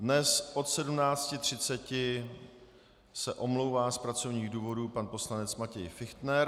Dnes se od 17.30 omlouvá z pracovních důvodů pan poslanec Matěj Fichtner.